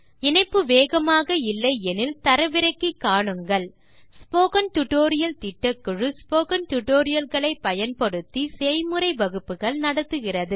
இணைப்பு வேகமாக இல்லை எனில் தரவிறக்கி காணுங்கள் ஸ்போக்கன் டியூட்டோரியல் திட்டக்குழு ஸ்போக்கன் டியூட்டோரியல் களை பயன்படுத்தி செய்முறை வகுப்புகள் நடத்துகிறது